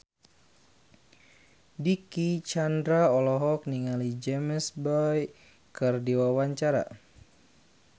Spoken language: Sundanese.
Dicky Chandra olohok ningali James Bay keur diwawancara